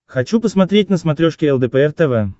хочу посмотреть на смотрешке лдпр тв